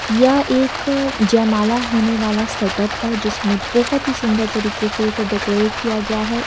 यह एक जयमाला होने वाला सेटअप है जिसमें बहोत ही सुंदर तरीके से इसे डेकोरेट किया गया है।